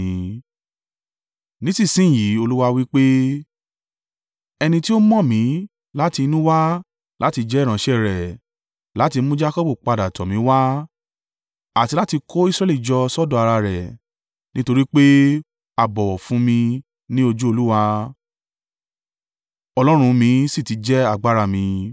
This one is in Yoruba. Nísinsin yìí Olúwa wí pé ẹni tí ó mọ̀ mí láti inú wá láti jẹ́ ìránṣẹ́ rẹ̀ láti mú Jakọbu padà tọ̀ mí wá àti láti kó Israẹli jọ sọ́dọ̀ ara rẹ̀, nítorí pé a bọ̀wọ̀ fún mi ní ojú Olúwa Ọlọ́run mi sì ti jẹ́ agbára mi,